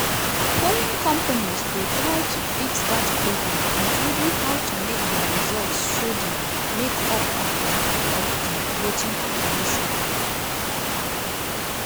polling companies go try to fix dat problem including how to make dia results show di make-up of di of di voting population.